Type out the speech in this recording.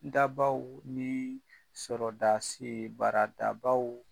Dabaw ni baara dabaw